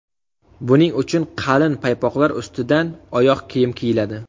Buning uchun qalin paypoqlar ustidan oyoq kiyim kiyiladi.